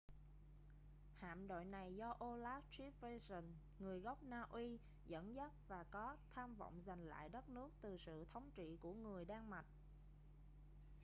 hạm đội này do olaf trygvasson người gốc na uy dẫn dắt và có tham vọng giành lại đất nước từ sự thống trị của người đan mạch